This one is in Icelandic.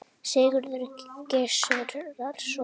Sigurður Gizurarson.